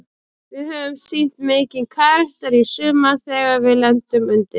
Við höfum sýnt mikinn karakter í sumar þegar við lendum undir.